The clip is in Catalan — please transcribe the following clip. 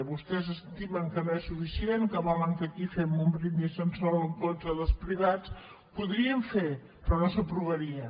vostès estimen que no és suficient que volen que aquí fem un brindis al sol en contra dels privats el podríem fer però no s’aprovaria